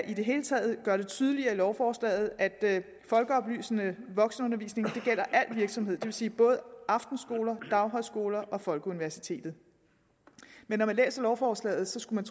i det hele taget kan gøre det tydeligere i lovforslaget at folkeoplysende voksenundervisning gælder al virksomhed det vil sige både aftenskoler daghøjskoler og folkeuniversitetet men når man læser lovforslaget skulle